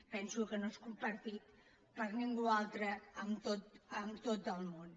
penso que no és compartit per ningú altre en tot el món